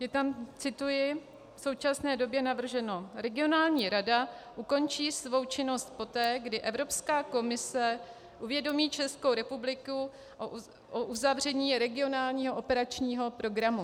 Je tam - cituji - v současné době navrženo: "Regionální rada ukončí svou činnost poté, kdy Evropská komise uvědomí Českou republiku o uzavření regionálního operačního programu."